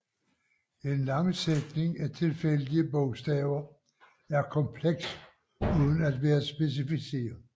En lang sætning af tilfældige bogstaver er kompleks uden at være specificeret